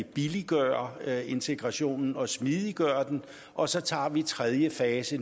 billiggøre integrationen og smidiggøre den og så tager vi tredje fase